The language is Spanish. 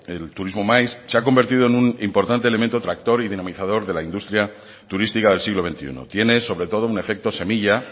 el turismo se ha convertido en un importante elemento tractor y dinamizador de la industria turística del siglo veintiuno tiene sobre todo un efecto semilla